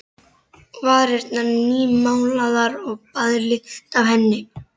Varirnar nýmálaðar og baðlykt af henni.